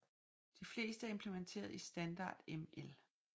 De fleste er implementeret i Standard ML